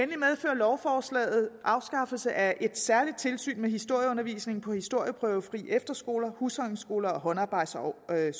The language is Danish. lovforslaget afskaffelse af et særligt tilsyn med historieundervisningen på historieprøvefri efterskoler husholdningsskoler og håndarbejdsskoler her